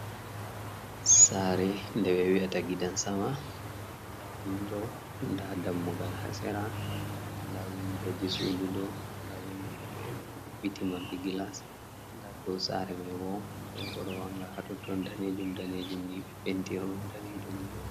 Saare nde ɓe wi’ata gidan sama, nda windo, nda dammugal ha sera, nda windo ji suudu ɗo nda windoji fere ɗo maɓɓiti marɗi gilas, nda dou saare mai bo donko ɗo wanga hatoton danejuum danejuum ni, be penti ɗum danejuum mai.